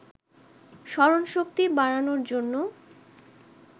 স্মরণশক্তি বাড়ানোর জন্য